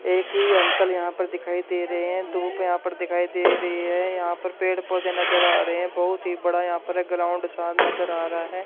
एक ही अंकल यहां पर दिखाई दे रहे हैं धूप है यहां पर दिखाई दे रही है यहां पर पेड़ पौधे नजर आ रहे हैं बहुत ही बड़ा यहां पर ग्राउंड सा नजर आ रहा है।